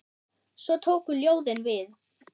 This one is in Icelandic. Svo tóku ljóðin við.